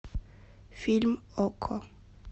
фильм окко